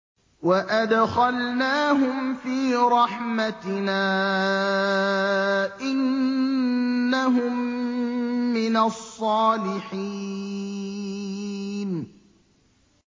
وَأَدْخَلْنَاهُمْ فِي رَحْمَتِنَا ۖ إِنَّهُم مِّنَ الصَّالِحِينَ